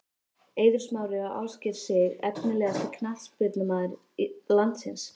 Eiður Smári og Ásgeir Sig Efnilegasti knattspyrnumaður landsins?